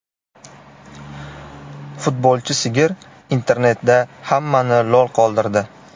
Futbolchi sigir internetda hammani lol qoldirdi .